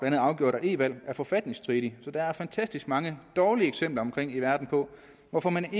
andet afgjort at e valg er forfatningsstridige så der er fantastisk mange dårlige eksempler på hvorfor man